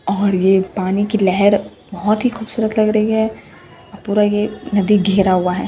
और ये पानी की लेहेर बहुत ही खूबसूरत लग रही है और पूरा ये नदी घेरा हुआ हैं।